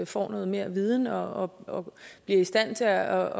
får noget mere viden og bliver i stand til at